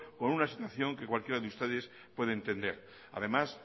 con una situación que cualquiera de ustedes puede entender además